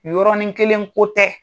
Nin yɔrɔnin kelen ko tɛ.